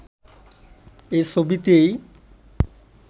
এ ছবিতেই